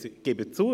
Ich gebe zu: